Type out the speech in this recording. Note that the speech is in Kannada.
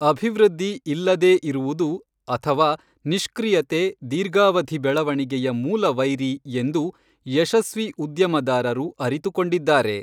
ಅಭಿವೃದ್ಧಿ ಇಲ್ಲದೇ ಇರುವುದು ಅಥವಾ ನಿಷ್ಕ್ರಿಯತೆ ದೀರ್ಘಾವಧಿ ಬೆಳವಣಿಗೆಯ ಮೂಲವೈರಿ ಎಂದು ಯಶಸ್ವಿ ಉದ್ಯಮದಾರರು ಅರಿತುಕೊಂಡಿದ್ದಾರೆ.